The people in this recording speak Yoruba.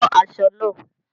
Ran aṣọ náà!